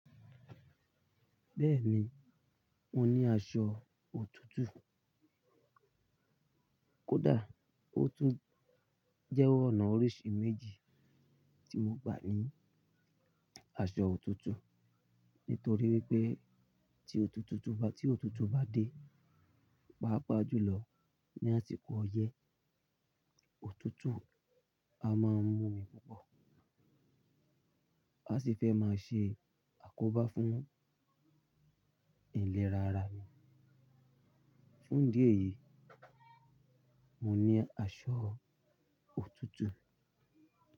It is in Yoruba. Bẹ́ẹ̀ni, mo ní aṣọ òtútù. Kódà, ó tún jẹ́ ọ̀nà oríṣi méjì tí mo gbà ní aṣọ òtútù. Nítorí wípé tí òtútù bá dé, pàápàá jùlọ ní àsìkò ọyẹ́, òtútù a máa ń mú mi púpọ̀. A sì fẹ́ máa ṣe àkóbá fún ìlera ara mi. Fún díẹ̀ yìí, mo ní aṣọ òtútù.